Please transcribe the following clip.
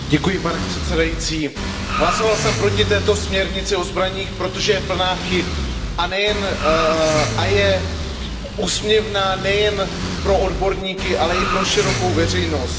Pane předsedající, hlasoval jsem proti této směrnici o zbraních, protože je plná chyb a je úsměvná nejen pro odborníky, ale i pro širokou veřejnost.